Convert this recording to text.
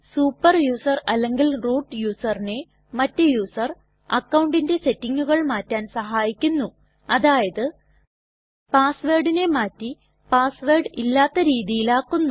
super user അല്ലെങ്കിൽ root യുസറിനെ മറ്റ് യുസർ അക്കൌണ്ടിന്റെ സെറ്റിങ്ങുകൾ മാറ്റാൻ സഹായിക്കുന്നുഅതായത് പാസ് വേർഡിനെ മാറ്റി പാസ് വേർഡ് ഇല്ലാത്ത രീതിയിൽ ആക്കുന്നു